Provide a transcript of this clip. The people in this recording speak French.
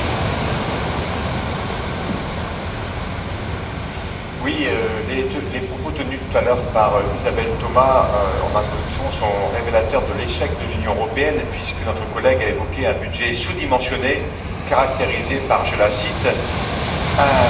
Monsieur le Président, les propos tenus tout à l'heure par Isabelle Thomas, en introduction, sont révélateurs de l'échec de l'Union européenne puisque notre collègue a évoqué un budget sous dimensionné, caractérisé par je la cite un manque d'ambition et de sérieux, et même une impuissance budgétaire.